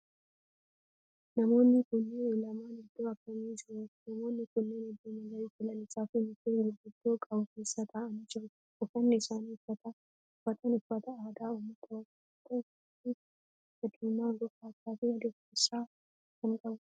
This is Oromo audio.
Namoonni kunneen lamaan iddoo akkami jiru? Namoonni kunneen iddoo marga lalisaa fi mukkeen gurguddoo qabu keessa ta'aanii jiru. Uffanni isaan uffatan uffata aadaa ummata oromoo yoo ta'u halluu akka diimaa, gurraachaa fi adii of keessaa kan qabudha.